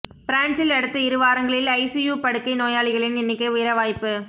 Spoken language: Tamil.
பிரான்சில் அடுத்த இருவாரங்களில் ஐசியு படுக்கை நோயாளிகளின் எண்ணிக்கை உயர வாய்ப்பு